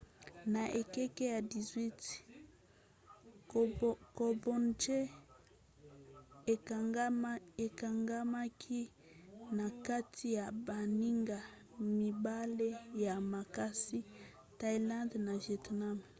na ekeke ya 18 cambodge ekangamaki na kati ya baninga mibale ya makasi thaïlande na vietnam